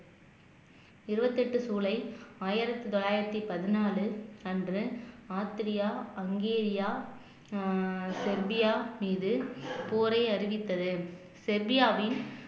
இருபத்தி எட்டு ஜூலை ஆயிரத்தி தொள்ளாயிரத்தி பதினாலு அன்று ஆஸ்திரியா ஹங்கேரியா ஆஹ் செர்பியா மீது போரை அறிவித்தது செவ்வியாவின்